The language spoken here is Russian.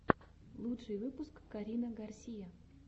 лучший выпуск карина гарсия